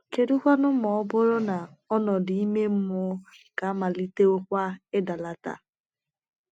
Kedukwanụ ma ọ bụrụ na ọnọdụ ime mmụọ gị amalitewokwa ịdalata?